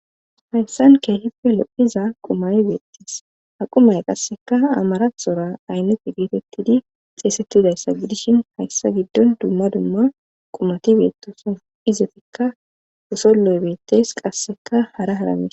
hayssan keehefe lo7iza qumay beettis ha qumay qasseka amarasora aynneti geetettidi xeesettidayssa gidishin hayssa giddon dumma dumma qumoti beettoson izefikka wosolloy beettes qasseka hara haramis